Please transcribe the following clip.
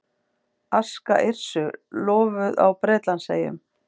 Aska Yrsu lofuð á Bretlandseyjum